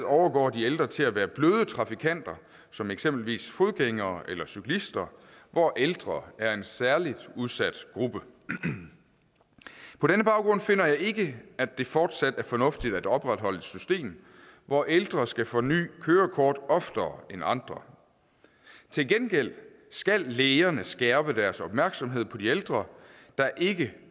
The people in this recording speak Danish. overgår de ældre til at være bløde trafikanter som eksempelvis fodgængere eller cyklister hvor ældre er en særligt udsat gruppe på denne baggrund finder jeg ikke at det fortsat er fornuftigt at opretholde et system hvor ældre skal forny kørekort oftere end andre til gengæld skal lægerne skærpe deres opmærksomhed på de ældre der ikke